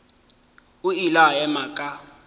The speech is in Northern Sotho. o ile a ema ka